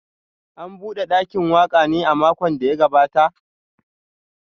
An bude dakin waka ne a makon da ya gabata?